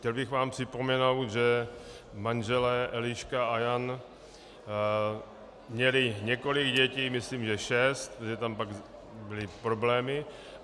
Chtěl bych vám připomenout, že manželé Eliška a Jan měli několik dětí, myslím že šest, že tam pak byly problémy.